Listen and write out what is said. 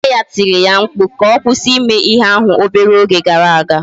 Nne ya tiri ya mkpu ka ọ kwụsị ime ihe ahụ obere oge gara aga